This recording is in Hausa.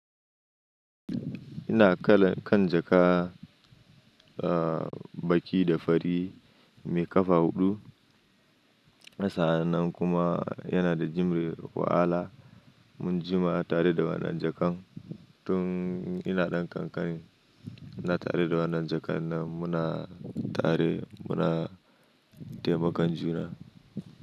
Ina kala kan jakka, ah baƙi da fari mai ƙafa huɗu. A sa'annan kuma yana da jumre wahala. Mun jima tare da wannan jakkan. Tun ina ɗan ƙanƙani ina tare da wannan jakkan nan muna tare muna taimakan juna.